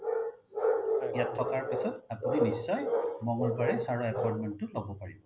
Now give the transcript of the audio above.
ইয়াত থকাৰ পিছত আপোনি নিশ্চয় মঙ্গলবাৰে sir appointment তো লব পাৰিব